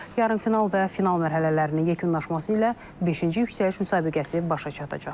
Yarımfinal və final mərhələlərinin yekunlaşması ilə beşinci yüksəliş müsabiqəsi başa çatacaq.